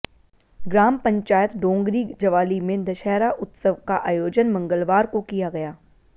ग्राम पंचायत डोंगरी जवाली में दशहरा उत्सव का आयोजन मंगलवार को किया गया